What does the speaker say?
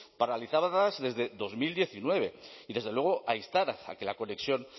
paralizadas desde dos mil diecinueve y desde luego a instar a que la conexión